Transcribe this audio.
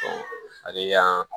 hali y'an